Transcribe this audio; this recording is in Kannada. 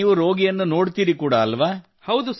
ಅಂದರೆ ನೀವು ರೋಗಿಯನ್ನು ನೋಡುತ್ತೀರಿ ಕೂಡಾ ಅಲ್ಲವೇ